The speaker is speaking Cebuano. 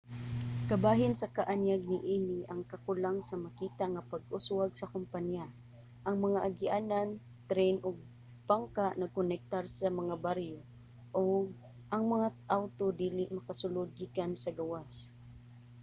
kabahin sa kaanyag niini ang kakulang sa makita nga pag-uswag sa kompaniya. ang mga agianan tren ug bangka nagkonektar sa mga baryo ug ang mga awto dili makasulod gikan sa gawas